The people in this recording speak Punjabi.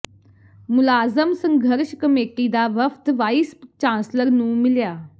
ਮੁਲਾਜ਼ਮ ਸੰਘਰਸ਼ ਕਮੇਟੀ ਦਾ ਵਫ਼ਦ ਵਾਈਸ ਚਾਂਸਲਰ ਨੂੰ ਮਿਲਿਆ